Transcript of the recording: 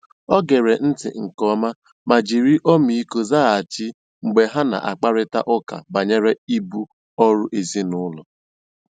O gèrè ntị́ nkè ọ̀ma mà jìrì ọ́mị́íkọ́ zághachì mgbe ha na-àkpárị̀ta ụ́ka bànyèrè ìbù ọ́rụ́ èzìnílọ́.